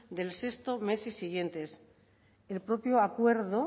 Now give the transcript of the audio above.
del sexto mes siguiente el propio acuerdo